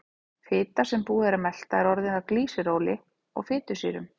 Fita sem búið er að melta er orðin að glýseróli og fitusýrum.